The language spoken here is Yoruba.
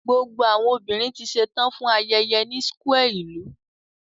Gbogbo awọn obinrin ti ṣetan fun ayẹyẹ ni square ilu